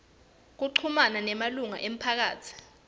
kuchumana nemalunga emphakatsi